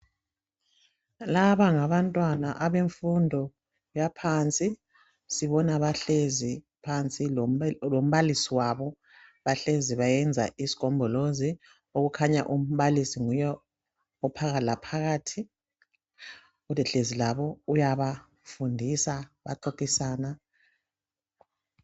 Laba ngabantwana abefundo yaphansi sibona bahlezi phansi lombalisi wabo bahlezi bayenza isigombolozi okukhanya umbalisi nguye ophakathi laphakathi kodwa ehlezi labo uyabafundisa baxoxisana.